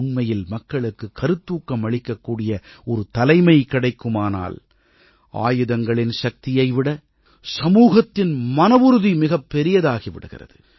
உண்மையில் மக்களுக்கு கருத்தூக்கம் அளிக்கக்கூடிய ஒரு தலைமை கிடைக்குமானால் ஆயுதங்களின் சக்தியை விட சமூகத்தின் மனவுறுதி மிகப் பெரியதாகி விடுகிறது